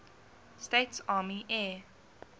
states army air